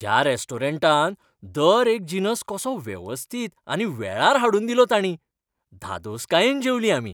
ह्या रेस्टॉरंटांत दर एक जिनस कसो वेवस्थीत आनी वेळार हाडून दिलो तांणी. धादोसकायेन जेवलीं आमी.